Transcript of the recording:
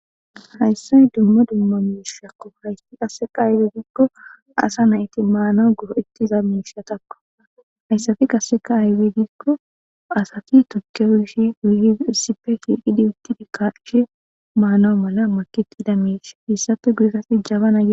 Dumma dumma asati maanawu maadiza miishati betetes.